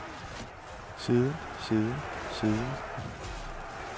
siden siden siden